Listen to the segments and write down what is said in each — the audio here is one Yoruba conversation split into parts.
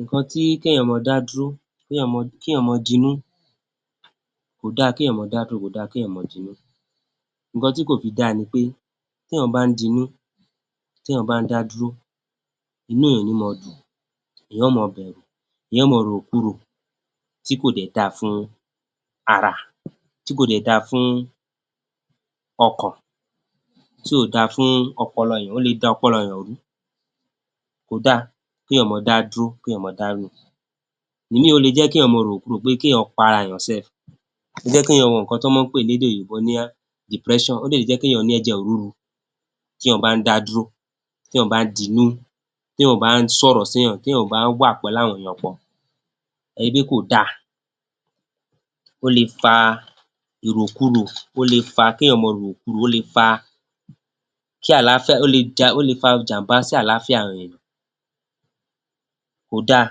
Ǹǹkan tí kéèyàn máa dá dúró, kéèyàn máa, kéèyàn máa dinú, kò dáa kéèyàn máa dá dúró, kò dáa kéèyàn máa dinú. Ǹǹkan tí kò fi dáa ni pé téèyàn bá ń dinú, téèyàn bá ń dá dúró, inú èèyàn ò níí máa dùn. Èèyàn ó máa bẹ̀rù. Èèyàn ó máa ròròkurò tí kò dẹ̀ dáa fún ara, tí kò dẹ̀ dáa fún ọkàn, tí ò dáa fún ọpọlọ èèyàn. Ó le da ọpọlọ èèyàn rú. Kò dáa kéèyàn máa dá dúró, kéèyàn máa dá rìn. Ìmíì ó le jẹ́ kéèyàn máa ròròkurò pé kéèyàn para èèyàn sẹẹ̀. Kéèyàn mọ nǹkan tán máa ń pè lédè òyìnbó ní depression. Ó dẹ̀ lè jẹ́ kéèyàn ní ẹ̀jẹ̀ rúru téèyàn bá ń dá dúró, téèyàn bá dinú, téèyàn ò bá ń sọ̀rọ̀ séèyàn, téèyàn ò bá wà pẹ̀láwọn èèyàn pọ̀, ẹ pé kò dáa. Ó le fa ìròkurò. Ó le fa kéèyàn máa ròròkurò. Ó le fa kí àlàáfíà, ó le ja, ó le fa ìjàm̀bá sí àlàáfíà àwọn èèyàn. Kò dáa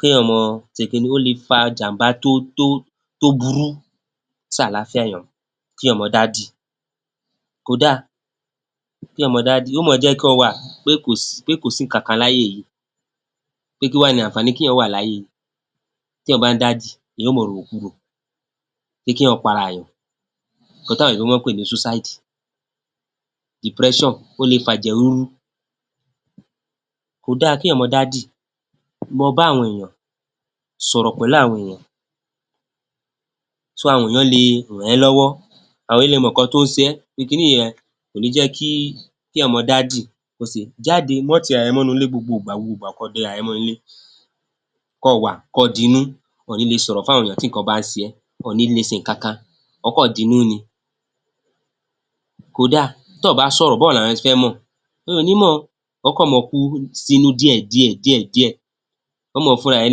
kéèyàn máa se kinní, ó le fa jàm̀bá tó, tó, tó burú sáàlááfíà èèyàn. Kéèyàn máa dádì kò dáa. Kéèyàn máa dádì, yó máa jẹ́ kọ́ ọ wà, pé kò sí, pé kò sí ǹǹkan kan láyé yíì, pé kí wá ni àǹfààní kéèyàn wà láyé íì? Téèyàn bá ń dá dì, èèyàn ó máa ròròkurò pé kéèyàn para èèyàn. Ǹǹkan táwọn òyìnbó máa ń pè ní suicide, depression ó le fa ẹ̀jẹ̀ rúru. Kò dáa kéèyàn máa dá dì. Lọ bá àwọn èèyàn. Sọ̀rọ̀ pẹ̀lú àwọn èèyàn. So, àwọn èèyàn le ràn ẹ́ lọ́wọ́. Àwọn èèyàn le mọ nǹkan tó ń se ẹ́ pé kiní yẹn, kò níí jẹ́ kí, kéèyàn máa dá dì. Jáde. Má ti ara rẹ mọ́núulé gbogbo ìgbà, gbogbo ìgbà kó o déraà rẹ mọ́núulé. Kọ́ ọ wà, kọ́ ọ dinú. Ọ ọ̀ níí le sọ̀rọ̀ fáwọn èèyàn tí nǹkan bá ń se ẹ́. Ọ ọ̀ níí le se nǹkan kan. Ọ́ kàn dinú ni. Kò daà. Tọ́ ọ̀ bá sọ̀rọ̀, bóo láwọn èèyàn se fẹ́ mọ̀? O ò níí mọ̀. Ọ́ kàn máa kú sínú díẹ̀díẹ̀, díẹ̀díẹ̀. Ọ́ máa fúnra rẹ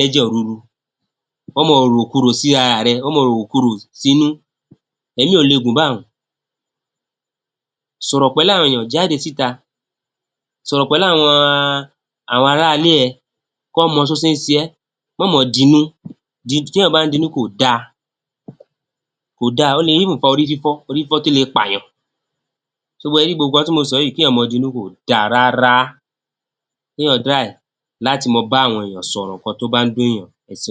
lẹ́jẹ̀ rúru. Ọ́ máa ròròkurò sírara rẹ. Ọ́ máa ròròkurò sínú. Ẹ̀mí ò le gùn báun. Sọ̀rọ̀ pẹ̀láwọn èèyàn. Jáde síta. Sọ̀rọ̀ pẹ̀láàwọn, àwọn aráalé ẹ kán mọ só se ń se ẹ́. Má máa dinú. Téèyàn bá ń dinú kò dáa. Kò dáa. Ó le even fa orí fífọ́, orí fífọ́ tó le pààyàn. sé ẹ rí gbogbo nǹkan tí mo sọ yìí, kéèyàn máa dinú kò dáa rárá. Kéèyàn try láti máa báwọn èèyàn sọ̀rọ̀ ǹǹkan tó bá ń dùnùnyàn. Ẹ ṣeun.